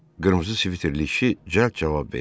Qırmızı sviterli kişi cəld cavab verdi.